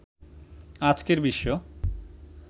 আজকের বিশ্ব